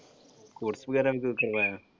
Course ਵਗੈਰਾ ਵੀ ਕੋਈ ਕਰਵਾਇਆ?